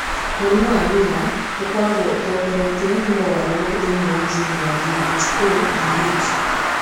Mũrimũ wa Miller ũkoragwo ũtongoretio nĩ mogarũrũku thĩinĩ wa jini ya DHODH.